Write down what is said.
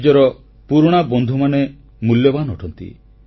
ନିଜର ପୁରୁଣା ବନ୍ଧୁମାନେ ମୂଲ୍ୟବାନ ଅଟନ୍ତି